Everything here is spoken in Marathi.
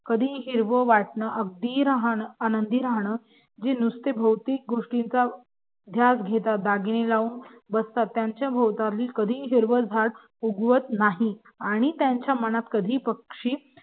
कधीही हिरव वाटण आनंदी राहणं जे नुसतं भोवतीक गोष्टींचा ध्यास घेतात दागिने लावून बसतात त्यांच्या भोवताली कधीही हिरवं झाड उगवत नाही आणि त्यांच्या मनात पक्षी